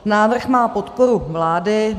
Návrh má podporu vlády.